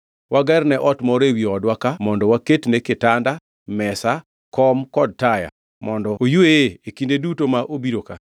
Wagerne ot moro ewi odwa ka mondo waketne kitanda, mesa, kom kod taya mondo oyweye e kinde duto ma obiro ka.”